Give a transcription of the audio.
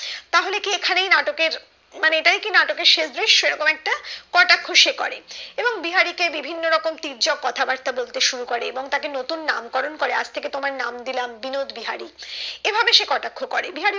তাহলে কি এখানেই এই নাটকের মানে এটাই কি নাটকের শেষ দৃশ্য এরকম একটি কটাক্ষ সে করে এবং বিহারি কে বিভিন্ন রকম তীর্যক কথা বার্তা বলতে শুরু করে এবং তাকে নতুন নাম করন করে আজ থেকে তোমার নাম দিলাম বিনোদবিহারী এভাবে সে কটাক্ষ করে